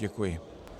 Děkuji.